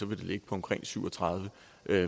vil ligge på omkring syv og tredive